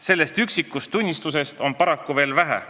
Sellest üksikust tunnistusest on paraku veel vähe.